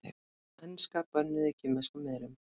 Enska bönnuð í kínverskum miðlum